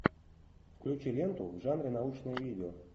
включи ленту в жанре научное видео